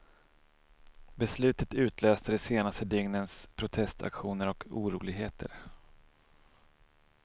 Beslutet utlöste de senaste dygnens protestaktioner och oroligheter.